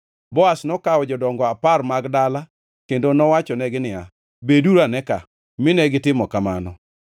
Boaz nokawo jodongo apar mag dala kendo nowachonegi niya, “Beduru ane ka,” mine gitimo kamano.